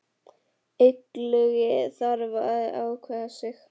Illugi þarf að ákveða sig.